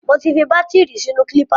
Mo ti fi bátìrì sínú kílípà.